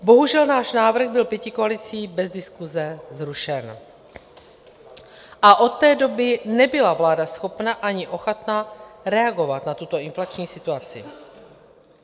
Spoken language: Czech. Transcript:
Bohužel, náš návrh byl pětikoalicí bez diskuse zrušen a od té doby nebyla vláda schopna ani ochotna reagovat na tuto inflační situaci.